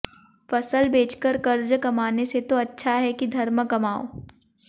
फसल बेचकर कर्ज कमाने से तो अच्छा है कि धर्म कमाओ